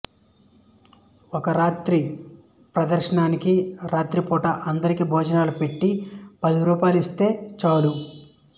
ఒక రాత్రి ప్రదర్శనానికి రాత్రి పూట అందరికీ భోజనాలు పెట్టి పది రూపాయలిస్తే చాలు